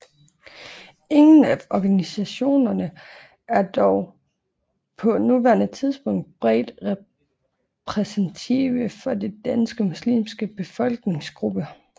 Ingen af organisationerne er dog på nuværende tidspunkt bredt repræsentative for den danske muslimske befolkningsgruppe